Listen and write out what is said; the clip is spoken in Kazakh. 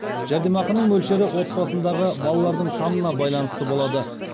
жәрдемақының мөлшері отбасындағы балалардың санына байланысты болады